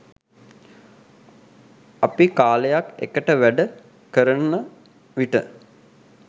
අපි කාලයක් එකට වැඩ කරන විට